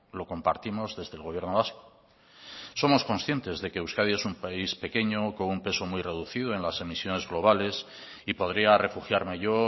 lo compartimos desde el gobierno vasco somos conscientes de que euskadi es un país pequeño con un peso muy reducido en las emisiones globales y podría refugiarme yo